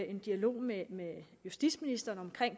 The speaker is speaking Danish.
en dialog med justitsministeren om